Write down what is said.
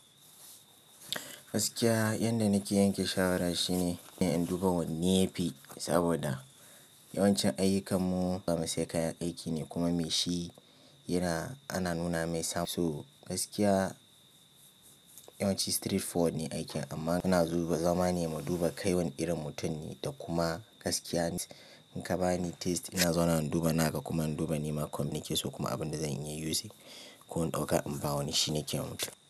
Gaskiya yadda nake yanke shawara shine in duba wanne yafi saboda yawanci ayyukanmu zamu siya kayan aiki ne kuma me shi yana ana nuna mai. So gaskiya yawanci straightforward ne aikin amma ana duba zamani mu duba kai wani irin mutum ne da kuma gaskiya in ka bani test ina zauna wa in duba ina ga kuma in duba nema communicate so kuma abin da zan iya yi using ko in ɗauka in ba wani shi nake wa mutum.